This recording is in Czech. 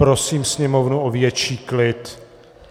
Prosím sněmovnu o větší klid.